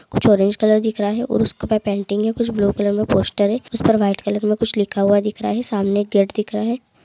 कुछ orange colour दिख रहा है और उसके बाद पेंटिंग है कुछ ब्लू कलर में पोस्टर है उसे पर वाइट कलर में कुछ लिखा हुआ दिख रहा है सामने गेट दिख रहा है।